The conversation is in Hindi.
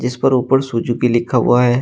इस पर ऊपर सुजुकी लिखा हुआ है।